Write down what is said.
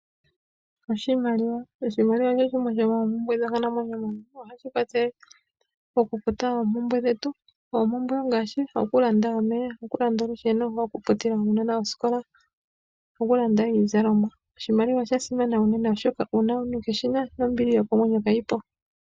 Oshimaliwa, oshimaliwa osho shimwe shomo ompumbwe dhonkalamwenyo. Ohashi kwathele oku futa oompumbwe dhetu, oompumbwe ongashi oku landa omeya, oku landa olusheno, oku futila aanona ooskola no kulanda iizalomwa. Oshimaliwa osha simana uunene oshoka uuna kuUshina nombili yokomwenyo ka yi po.